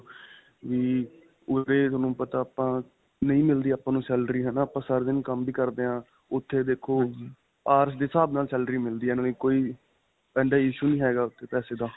ਵੀ ਉਰੇ ਤੁਹਾਨੂੰ ਪਤਾ ਆਪਾਂ ਨਹੀਂ ਮਿਲਦੀ ਆਪਾਂ ਨੂੰ salary ਹੈ ਨਾ. ਆਪਾਂ ਸਾਰਾ ਦਿਨ ਕੰਮ ਵੀ ਕਰਦੇ ਹਾਂ ਉੱਥੇ ਦੇਖੋ hours ਦੇ ਹਿਸਾਬ ਨਾਲ salary ਮਿਲਦੀ ਹੈ. ਨਾਲੇ ਕੋਈ ਇੰਨਾ issue ਨਹੀਂ ਹੈਗਾ ਉੱਥੇ ਪੈਸੇ ਦਾ.